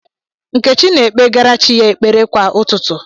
Nkechi na-ekpegara chi ya ekpere kwa ụtụtụ.